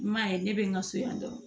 I m'a ye ne bɛ n ka so yan dɔrɔn